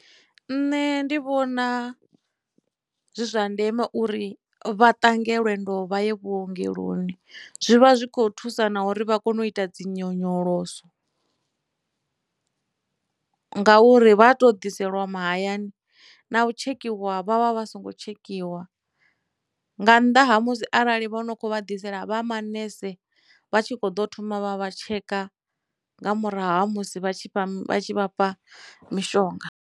Nṋe ndi vhona zwi zwa ndeme uri vha ṱange lwendo vha ye vhuongeloni zwivha zwikho thusa na uri vha kone u ita dzi nyonyoloso, ngauri vhato ḓiselwa mahayani na u tshekhiwa vha vha vha songo tshekhiwa nga nnḓa ha musi arali vho no kho vha ḓisela vha manese vha tshi kho ḓo thoma vha vha tsheka nga murahu ha musi vha tshi vha tshi vhafha mishonga.